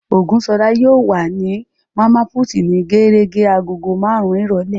Ògúnṣọlá yóò wà ní Màmá put ní gérégé agogo marun-un ìrọ̀lẹ́